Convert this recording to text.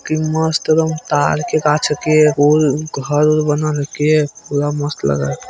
की मस्त एकदम तर के गाछ के गोल उल घर उर बनल के पूरा मस्त लग रहा है।